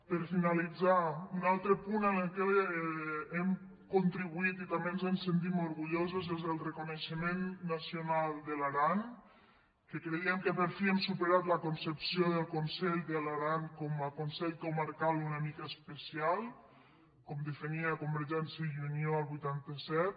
per finalitzar un altre punt al qual hem contribuït i també ens en sentim orgullosos és el reconeixement nacional de l’aran que creiem que per fi hem supe·rat la concepció del conselh de l’aran com a consell comarcal una mica especial com definia convergèn·cia i unió el vuitanta set